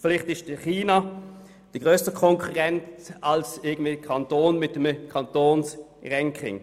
Vielleicht ist China der grössere Konkurrent als ein Kanton mit einem besseren Kantonsranking.